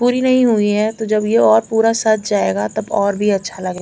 पूरी नहीं हुई है तो जब ये पूरा सज जाएगा तब ये और भी अच्छा लगेगा।